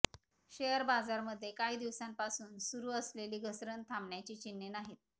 share बाजारामध्ये काही दिवसांपासून सुरू असलेली घसरण थांबण्याची चिन्हे नाहीत